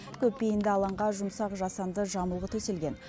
көпбейінді алаңға жұмсақ жасанды жамылғы төселген